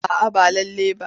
A'a ba lallai ba.